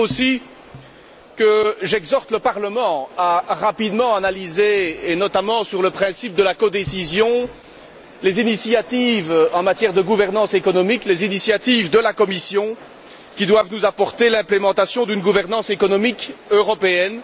Vous dire aussi que j'exhorte à rapidement analyser, et notamment sur le principe de la codécision, les initiatives en matière de gouvernance économique, les initiatives de la Commission qui doivent nous apporter l'implémentation d'une gouvernance économique européenne.